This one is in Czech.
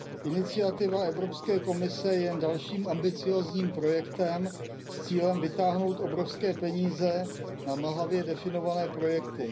Iniciativa Evropské komise je jen dalším ambiciózním projektem s cílem vytáhnout obrovské peníze na mlhavě definované projekty.